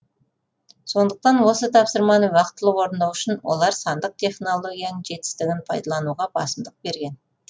сондықтан осы тапсырманы уақытылы орындау үшін олар сандық технологияның жетістігін пайдалануға басымдық берген